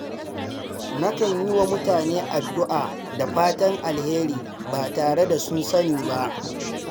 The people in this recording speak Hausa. Nakan yi wa mutane addu’a da fatan alheri ba tare da sun sani ba.